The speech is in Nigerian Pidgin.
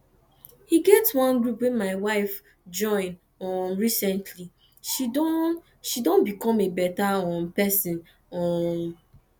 e get wan group my wife join um recently she Accepted she Accepted become a better um person um